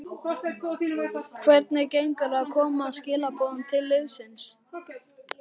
Hvernig gengur að koma skilaboðum til liðsins?